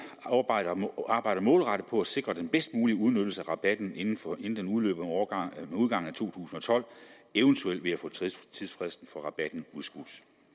arbejder målrettet på at sikre den bedst mulige udnyttelse af rabatten inden den udløber med udgangen af to tusind og tolv eventuelt ved at få tidsfristen for rabatten udskudt